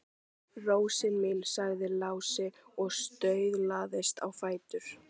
Rósin mín, sagði Lási og staulaðist á fætur.